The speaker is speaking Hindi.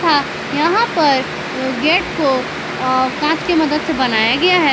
तथा यहां पर गेट को कांच के मदद से बनाया गया है।